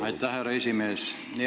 Aitäh, härra esimees!